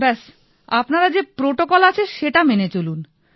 ব্যাস আপনার যে প্রটোকল আছে সেটা মেনে চলুন